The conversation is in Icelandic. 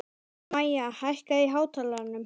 Maya, hækkaðu í hátalaranum.